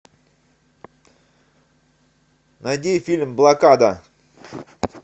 найди фильм блокада